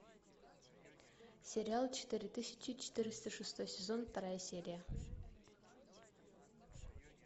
сериал четыре тысячи четыреста шестой сезон вторая серия